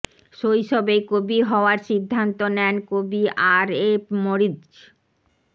শৈশবেই কবি হওয়ার সিদ্ধান্ত নেন কবি আর এফ মরিৎজ